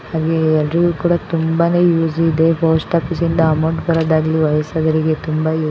ಹಾಗೆ ಎಲ್ಲರಿಗೂ ಕೂಡ ಯೂಸ್ ಇದೆ. ಪೋಸ್ಟ್ ಆಫೀಸ್ ಇಂದ ಅಮೌಂಟ್ ಬರೋದಾಗಲಿ ವಯಸ್ಸಾದವರಿಗೆ ತುಂಬಾ ಯೂ--